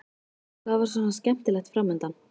Hvað var svona skemmtilegt fram undan?